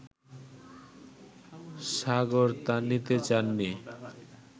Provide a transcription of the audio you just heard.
সাগর তা নিতে চাননি